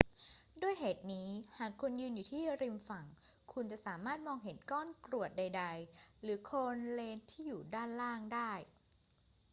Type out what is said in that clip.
ด้วยเหตุนี้ หากคุณยืนอยู่ที่ริมฝั่ง คุณจะสามารถมองเห็นก้อนกรวดใด ๆ หรือโคลนเลนที่อยู่ด้านล่างได้